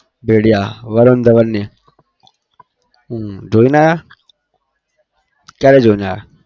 भेड़िया વરુણ ધવનની હમ જોઈને આવ્યો? ક્યારે જોઇને આવ્યો?